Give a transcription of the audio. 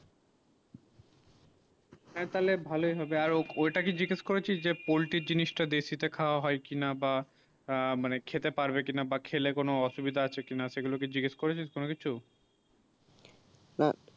হেঁ তালে ভালো ই হবে আর ওটাইকি জিগেস করেছিস যে poultry জিনিস তা দেয় তে খাবা হয়ে কি না বা খেতে পারবে কি বা খেলে কোনো অসুবিধা আছে কি না সেই গুলু কে জিগেস করেছিস কোনো কিছু না